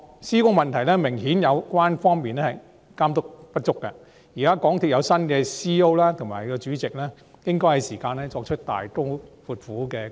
施工的問題顯然是有關方面監督不足，港鐵公司的新任行政總裁和主席是時候大刀闊斧地進行改革。